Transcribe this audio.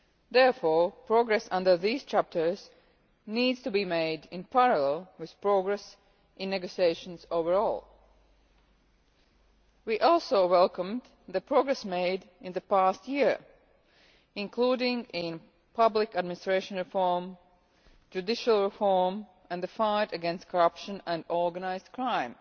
Therefore, progress under these chapters needs to be made in parallel with progress in the negotiations overall. We also welcomed the progress made in the past year, including in public administration reform, judicial reform and the fight against corruption and organised crime.